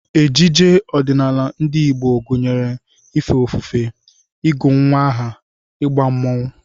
Ejije ọdịnala ndị Igbo gụnyere ife ofufe, ịgụ nnwa aha, ịgba mmọnwụ